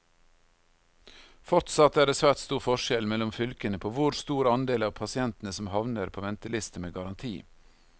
Fortsatt er det svært stor forskjell mellom fylkene på hvor stor andel av pasientene som havner på venteliste med garanti.